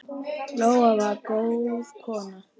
Lóa var góð kona.